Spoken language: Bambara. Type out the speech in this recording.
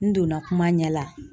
N donna kuma ɲɛ la.